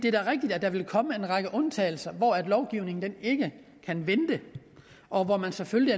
er rigtigt at der vil komme en række undtagelser hvor lovgivningen ikke kan vente og hvor man selvfølgelig